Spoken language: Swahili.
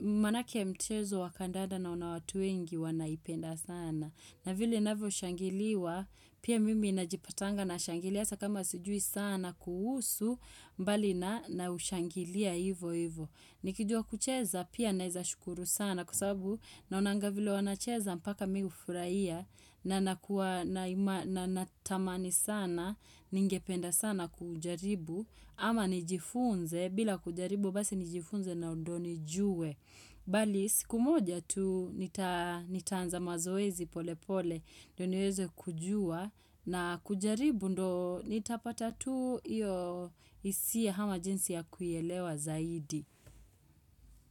Maanake mchezo wa kandanda naona watu wengi wanaipenda sana. Na vile inavyoshangiliwa, pia mimi najipatanga na nashangilia, hasa kama sijui sana kuhusu mbali na ushangilia hivo hivo. Nikijua kucheza pia naezashukuru sana kwa sababu naonanga vile wanacheza mpaka mimi hufurahia na natamani sana, ningependa sana kujaribu, ama nijifunze, bila kujaribu basi nijifunze na ndo nijue. Bali siku moja tu nitaanza mazoezi pole pole, ndo niweze kujua na kujaribu ndo nitapata tu hisia ama jinsi ya kuielewa zaidi.